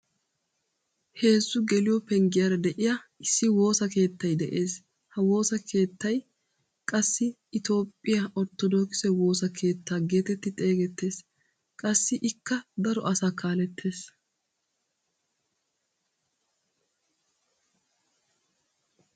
Heezzu geliyoo penggiyaara de'iyaa issi woossa keettay de'ees. ha woossa keettay qassi itoophphiyaa orttodokisee woosa keettaa getetti xeegettees. qassi ikka daro asaa kalettees.